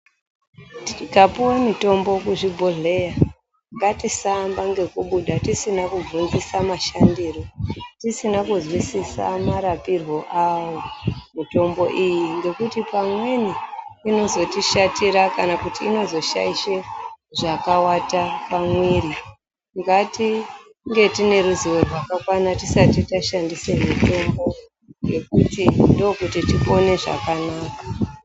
Tikapuwa mitombo kuzvibhehleya ,ngatisaanba ngekubuda tisina kubvunzisa mashandiro ,tisina kuzwisisa marapirwo awo mitombo iyi ngekuti pamweni inozotishatira kana kuti inozoshaishe zvekawata pamuwiri. Ngatinhe tiine ruzivo tisati tashandisa mutombo ngekuti ndokuti tipone zvakanaka.